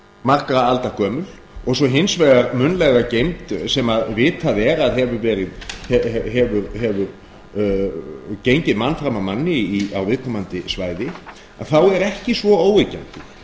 margra alda gömul og svo hins vegar munnlega geymd sem vitað er að hefur gengið mann fram af manni á viðkomandi svæði að þá er ekki svo óyggjandi